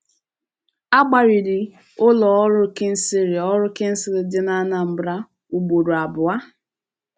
A gbariri ụlọ ọrụ Kingsley ọrụ Kingsley dị na Anambra, ugboro abụọ.